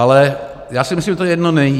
Ale já si myslím, že to jedno není.